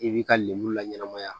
I b'i ka lemuru laɲɛnɛmaya